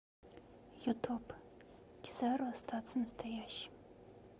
ютуб кизару остаться настоящим